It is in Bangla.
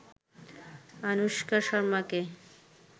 আনুশকা শর্মাকে